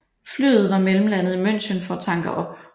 Flyet var mellemlandet i München for at tanke op